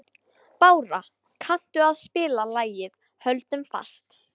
Bára, kanntu að spila lagið „Höldum fast“?